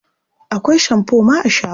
Akwai shamfo ma a shagon.